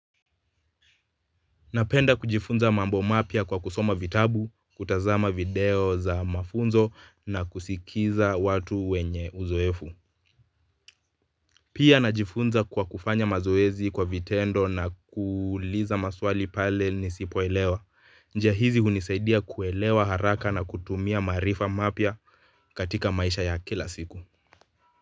Napenda kujifunza mambo mapya kwa kusoma vitabu, kutazama video za mafunzo na kusikiliza watu wenye uzoefu. Pia najifunza kwa kufanya mazoezi kwa vitendo na kuuliza maswali pale nisipoelewa. Njia hizi hunisaidia kuelewa haraka na kutumia maarifa mapya katika maisha ya kila siku.